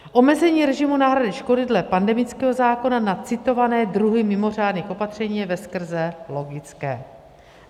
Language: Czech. Omezení režimu náhrady škody dle pandemického zákona na citované druhy mimořádných opatření je veskrze logické.